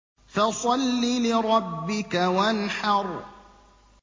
فَصَلِّ لِرَبِّكَ وَانْحَرْ